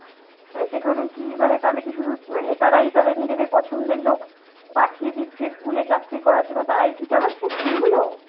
মানে সেখানেও কি মানে তাহলে কি শুধু মানে নেতারাই তাদের নিজেদের পছন্দের লোক পাঠিয়ে দিচ্ছে school এ চাকরি করার জন্য! তারাই কি চালাচ্ছে school গুলো?